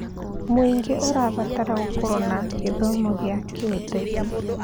Mũingĩ ũrabatara gũkorwo na gĩthomo gĩa kĩũteti.